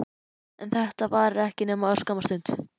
En þetta varir ekki nema örskamma stund.